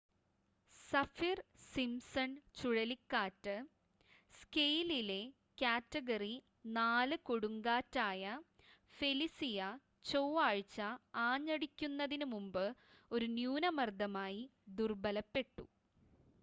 Saffir-Simpson ചുഴലിക്കാറ്റ് സ്കെയിലിലെ category 4 കൊടുങ്കാറ്റായ ഫെലിസിയ ചൊവ്വാഴ്ച ആഞ്ഞടിക്കുന്നതിനുമുമ്പ് ഒരു ന്യൂനമർദ്ദമായി ദുർബലപ്പെട്ടു